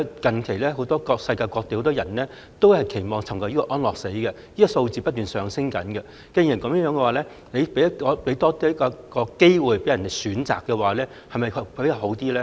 大家都知道，近來世界各地很多人都期望尋求安樂死，數字不斷上升，既然如此，政府讓病人有機會選擇，是否更好呢？